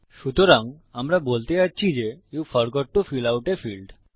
সুতরাং আমরা বলতে যাচ্ছি যে you forgot to fill out a field আপনি ফিল্ড ভরতে ভুলে গেছেন